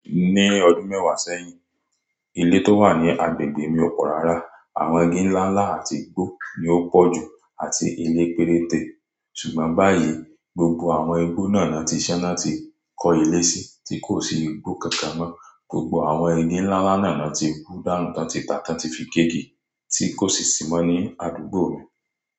Ní ọdún mẹ́wàá sẹ́yìn, ilé tó wà ní agbègbè mi ò pọ̀ rárá. Àwọn igi ńláńlá àti igbó ni ó pọ̀ jù àti ilé péréte. Ṣùgbọ́n báyìí, gbogbo àwọn igbó náà ni wọ́n ti ṣán ni wón ti kó ilé sí, tí kò sí igbó kankan mọ́. Gbogbo àwọn igi ńláńlá náà ni wọ́n ti hù dánù ti won tí tá ti won ti fi gé igi, tí kò sì sí mọ́ ní àdúgbò mi.